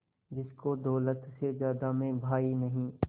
जिसको दौलत से ज्यादा मैं भाई नहीं